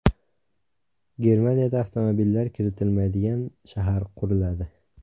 Germaniyada avtomobillar kiritilmaydigan shahar quriladi.